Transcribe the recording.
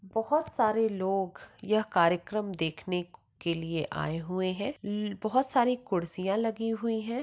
बहुत सारे लोग यह कार्यक्रम देखने क के लिए आए हुए हैं ल-बहुत सारे कुड्सिया लगी हुई है।